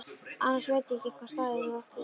Annars veit ég ekki hvaða staði þú átt við.